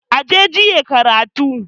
Aje jiye karakon